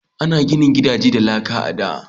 An gina gidaje da laka a da.